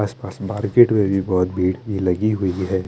आस पास मार्केट में भी बोहोत भीड़ लगी हुई है।